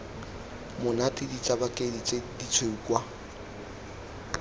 monate ditsabakedi tse ditshweu kwa